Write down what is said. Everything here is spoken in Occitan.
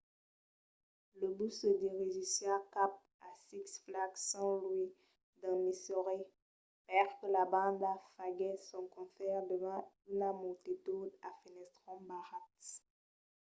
lo bus se dirigissiá cap a six flags st. louis dins missouri perque la banda faguèsse son concèrt davant una multitud a fenestrons barrats